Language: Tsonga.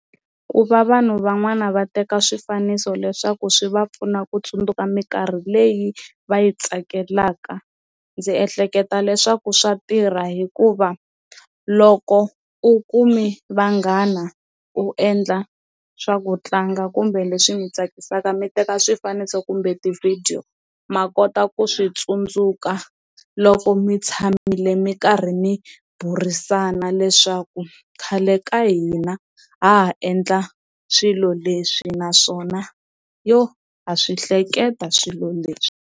Ku va vanhu van'wana va teka swifaniso leswaku swi va pfuna ku tsundzuka minkarhi leyi va yi tsakelaka ndzi ehleketa leswaku swa tirha hikuva loko u kumi vanghana u endla swa ku tlanga kumbe leswi mi tsakisaka mi teka swifaniso kumbe ti-video, ma kota ku swi tsundzuka loko mi tshamile mi karhi ni burisana leswaku khale ka hina ha ha endla swilo leswi naswona yo ha swi hleketa swilo leswi.